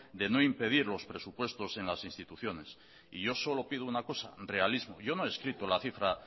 de no impedir los presupuestos en las instituciones y yo solo pido una cosa realismo yo no he escrito la cifra